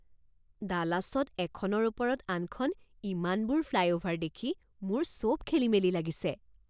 ডালাছত এখনৰ ওপৰত আনখন ইমানবোৰ ফ্লাইঅ'ভাৰ দেখি মোৰ চব খেলিমেলি লাগিছে।